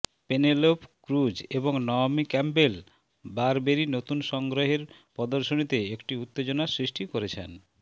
Penelope Cruz এবং Naomi Campbell Burberry নতুন সংগ্রহের প্রদর্শনীতে একটি উত্তেজনা সৃষ্টি করেছেন